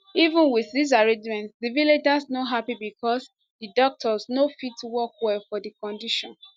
even wit dis arrangement di villagers no happy becos di doctors no fit work well for di condition